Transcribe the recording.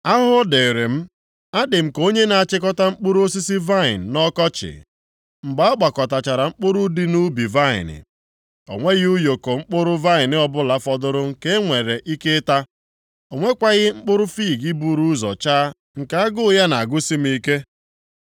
Ahụhụ dịrị m! Adị m ka onye na-achịkọta mkpụrụ osisi vaịnị nʼọkọchị, mgbe a ghọkọtachara mkpụrụ dị nʼubi vaịnị. O nweghị ụyọkọ mkpụrụ vaịnị ọbụla fọdụrụ nke e nwere ike ịta, o nwekwaghị mkpụrụ fiig buru ụzọ chaa nke agụ ya na-agụsị m ike